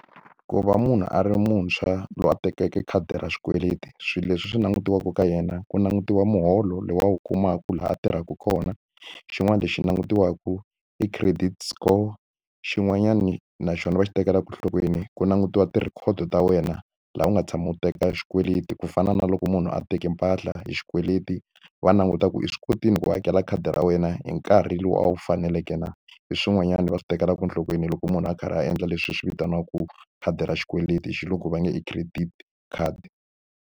Ku va munhu a ri muntshwa loyi a tekeke khadi ra xikweleti swilo leswi swi langutiweke ka yena ku langutiwa muholo lowu a wu kumaku laha a tirhaka kona xin'wana lexi langutisaka i credit score xin'wanyani naxona va xi tekela enhlokweni ku langutiwa ti-record ta wena laha u nga tshami u teka xikweleti ku fana na loko munhu a teki mpahla hi xikweleti va languta ku i swi kotile ku ku hakela khadi ra wena hi nkarhi lowu a wu faneleke na hi swin'wanyani va swi tekelaka enhlokweni loko munhu a karhi a endla leswi swi vitaniwaku khadi ra xikweleti hi xilungu va nge i credit card.